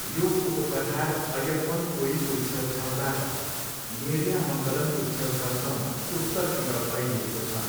यो उपपठार अय्यप्पनकोइलको छेउछाउबाट नेरियामङ्गलमको छेउछाउसम्म उत्तरतिर फैलिएको छ।